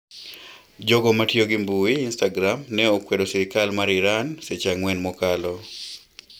Jogo matiyo gi mbui instagram ne okwedo sirikal mar Iran seche ang'wen mokalo